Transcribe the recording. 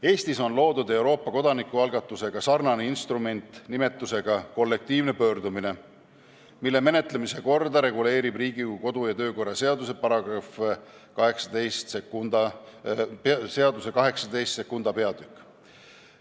Eestis on loodud Euroopa kodanikualgatusega sarnane instrument, kollektiivne pöördumine, mille menetlemise korda reguleerib Riigikogu kodu- ja töökorra seaduse peatükk 182.